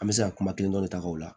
An bɛ se ka kuma kelen dɔ de ta ka o la